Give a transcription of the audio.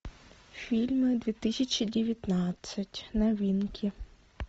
фильмы две тысячи девятнадцать новинки